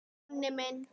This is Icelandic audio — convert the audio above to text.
Jonni minn!